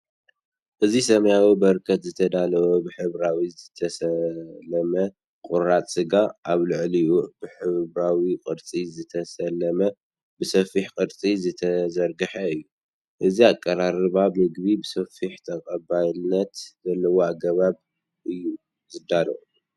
እዚ ሰማያዊ በርከት ዝተዳለወ ብሕብራዊ ዝተሰለመ ቁራጽ ስጋ። ኣብ ልዕሊኡ ብሕብራዊ ቅርጺ ዝተሰለመን ብሰፊሕ ቅርጺ ዝተዘርግሐን እዩ። እዚ ኣቀራርባ ምግቢ ብሰፊሕን ተቐባልነትን ዘለዎ ኣገባብ እዩ ዝዳሎ።